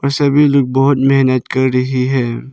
सभी लोग बहुत मेहनत कर रहे हैं।